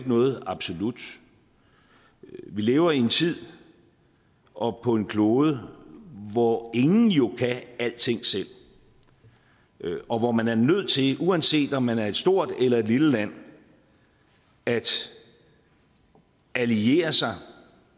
noget absolut vi lever i en tid og på en klode hvor ingen jo kan alting selv og hvor man er nødt til uanset om man er et stort eller et lille land at alliere sig og